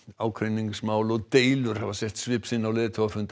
ágreiningsmál og deilur hafa sett svip sinn á leiðtogafund